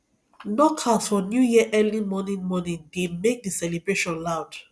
knockouts for new year early morning morning dey make the celebration loud